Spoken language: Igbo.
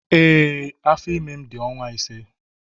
Ee, afọ ime m dị ọnwa ise.